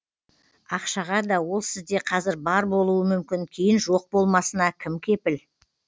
ақшаға да ол сізде қазір бар болуы мүмкін кейін жоқ болмасына кім кепіл